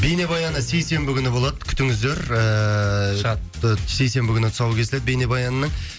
бейнебаяны сейсенбі күні болады күтіңіздер ііі шатты сейсенбі күні тұсауы кесіледі бейнебаянның